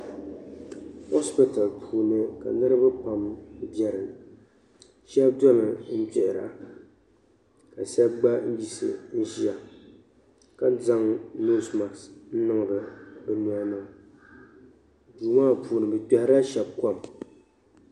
Hospiti puuni ka niriba pam biɛni sheba domi m gbihira ka sheba gba yiɣisi n ʒia ka zaŋ noosi maaki n niŋ ba bɛ nyɛhini duu maa puuni bɛ kpehirila sheba kom.